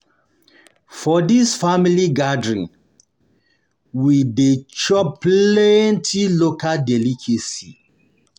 For di family gathering, we dey um chop plenty local delicacies.